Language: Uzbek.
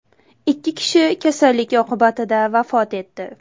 Ikki kishi kasallik oqibatida vafot etdi.